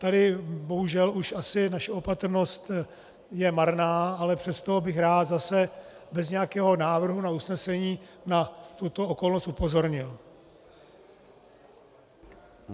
Tady bohužel už asi naše opatrnost je marná, ale přesto bych rád, zase bez nějakého návrhu na usnesení, na tuto okolnost upozornil.